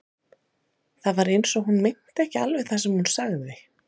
Það var eins og hún meinti ekki alveg það sem hún sagði.